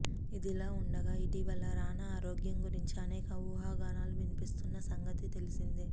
ఇదిలా ఉండగా ఇటీవల రానా ఆరోగ్యం గురించి అనేక ఊహాగానాలు వినిపిస్తున్న సంగతి తెలిసిందే